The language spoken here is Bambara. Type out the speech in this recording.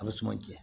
A bɛ suman jɛ